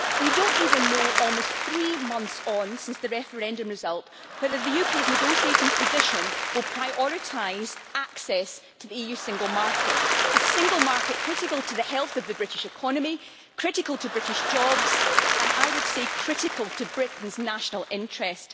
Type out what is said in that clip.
We do not even know, almost three months on since the referendum result, whether the UK's negotiating position will prioritise access to the EU single market, a single market critical to the health of the British economy, critical to British jobs and, I would say, critical to Britain's national interest.